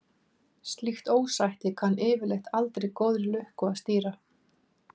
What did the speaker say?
Slíkt ósætti kann yfirleitt aldrei góðri lukka að stýra.